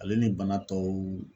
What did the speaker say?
Ale ni bana tɔw